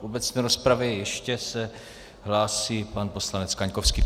V obecné rozpravě ještě se hlásí pan poslanec Kaňkovský.